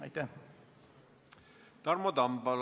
Tarmo Tamm, palun!